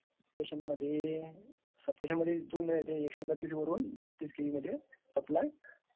सबस्टेशनमध्ये दोन is not clear एकशे बत्तास वरुन ....तेहत्तीस के बी मध्ये is not clear सप्लाय